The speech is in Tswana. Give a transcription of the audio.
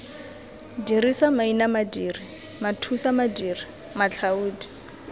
dirisa maina madiri mathusamadiri matlhaodi